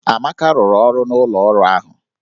Amaka rụrụ ọrụ n'ụlọ ọrụ ahụ